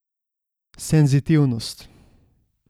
Senzitivnost.